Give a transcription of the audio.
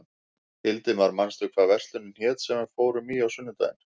Hildimar, manstu hvað verslunin hét sem við fórum í á sunnudaginn?